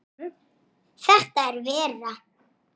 Tveir togarar fórust.